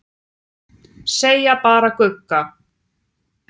Segja bara Gugga.